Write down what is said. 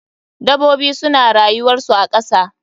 Dabobi suna rayuwar su a kasa.